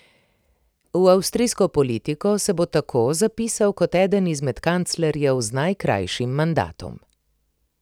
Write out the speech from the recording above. V avstrijsko politiko se bo tako zapisal kot eden izmed kanclerjev z najkrajšim mandatom.